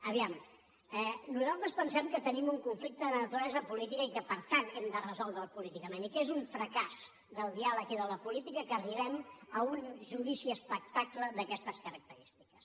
a veure nosaltres pensem que tenim un conflicte de naturalesa política i que per tant hem de resoldre’l políticament i que és un fracàs del diàleg i de la política que arribem a un judici espectacle d’aquestes característiques